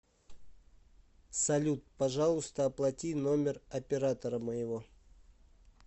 салют пожалуйста оплати номер оператора моего